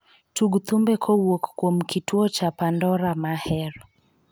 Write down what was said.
Tug thumbe kowuok kuom kituo cha pandora mahero